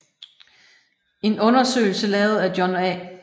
En undersøgelse lavet af John A